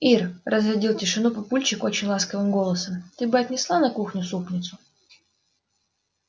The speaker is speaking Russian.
ир разрядил тишину папульчик очень ласковым голосом ты бы отнесла на кухню супницу